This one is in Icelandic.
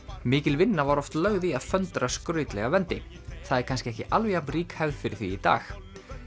mikil vinna var oft lögð í að föndra skrautlega vendi það er kannski ekki alveg jafn rík hefð fyrir því í dag